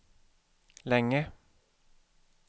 länge